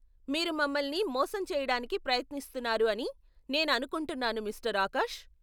మీరు మమల్ని మోసం చెయ్యడానికి ప్రయత్నిస్తున్నారు అని నేను అనుకుంటున్నాను మిస్టర్ ఆకాష్.